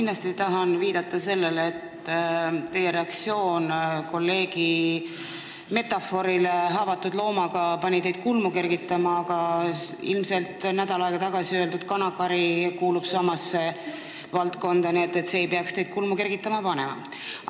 Alustuseks tahan viidata sellele, et teie reaktsioon kolleegi metafoorile, kui ta nimetas haavatud looma, pani teid kulmu kergitama, aga nädal tagasi öeldud "kanakari" kuulub samasse valdkonda, nii et see ei peaks teid kulmu kergitama panema.